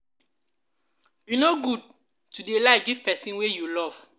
e no good to dey lie give pesin wey love you.